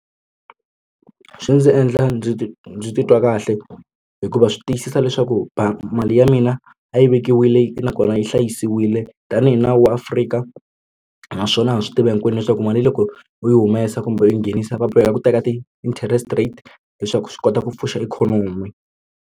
Swi ndzi endla ndzi ndzi titwa kahle hikuva swi tiyisisa leswaku mali ya mina a yi vekiwile nakona yi hlayisiwile tanihi nawu wa Afrika naswona ha swi tiva hinkwenu leswaku mali yi loko u yi humesa kumbe u nghenisa va boheka ku teka ti-interest rate leswaku swi kota ku pfuxa ikhonomi.